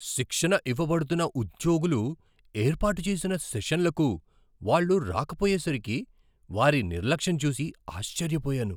శిక్షణ ఇవ్వబడుతున్న ఉద్యోగులు ఏర్పాటు చేసిన సెషన్లకు వాళ్ళు రాకపోయేసరికి వారి నిర్లక్షం చూసి ఆశ్చర్యపోయాను.